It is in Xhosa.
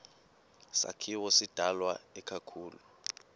sakhiwo sidalwe ikakhulu